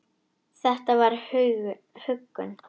Þetta var huggun.